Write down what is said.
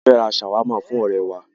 A fẹ́ ra ṣàwámà fún ọ̀rẹ́ẹ wa.